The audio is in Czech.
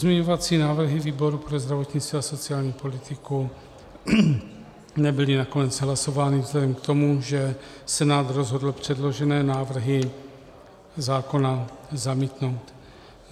Pozměňovací návrhy výboru pro zdravotnictví a sociální politiku nebyly nakonec hlasovány vzhledem k tomu, že Senát rozhodl předložené návrhy zákona zamítnout.